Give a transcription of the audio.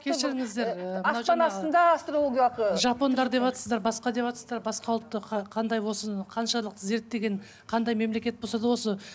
кешіріңіздер жапондар деватсыздар басқа деватсыздар басқа ұлтты қандай болсын қаншалық зерттеген қандай мемлекет болса да осы